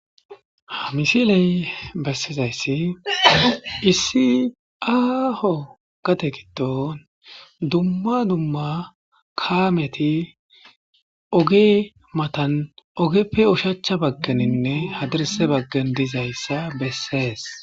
hamisiley bessizayssi issi aho gate gidon dumma dumma kaameti oge matan ogeppe ushacha baggeninne hadirse baggen dizayssa bessees